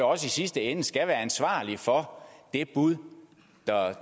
også i sidste ende skal være ansvarlig for det bud